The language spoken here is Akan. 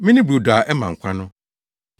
Mene brodo a ɛma nkwa no.